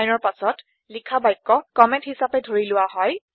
চাইনৰ পাছত লিখা বাক্য কম্মেন্ট হিছাপে ধৰি লোৱা হয়